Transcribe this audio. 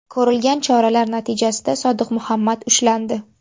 Ko‘rilgan choralar natijasida Sodiq Muhammad ushlandi.